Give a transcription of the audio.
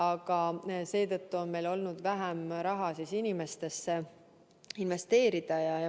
Aga seetõttu on meil olnud vähem raha, mida inimestesse investeerida.